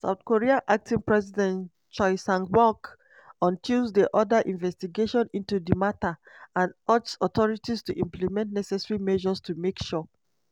south korea acting president choi sang-mok on tuesday order investigation into di matter and urge authorities to "implement necessary measures to make sure